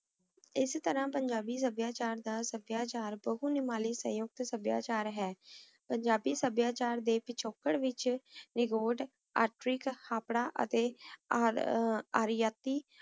ਏਸ ਤਰਹ ਪੰਜਾਬੀ ਸਭ੍ਯਾਚਾਰ ਦਾ ਸਭ੍ਯਾਚਾਰ ਕੁਲ ਨਿਮਾਲੀ ਸਯੁਕਤ ਸਬ੍ਯਾਚਾਰ ਹੈ ਪੰਜਾਬੀ ਸਭ੍ਬ੍ਯਾਚਾਰ ਦੇ ਪਿਚਕਾਰ ਵਿਚ ਨੇਗੋਤ ਏਥ੍ਰਿਕ ਹਾਪ੍ਰਾ ਅਤੀ ਅਰੈਤੀ